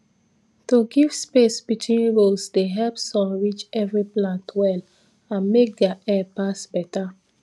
to give space between rows dey help sun reach every plant well and make air pass better